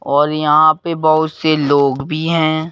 और यहां पर बहुत से लोग भी है।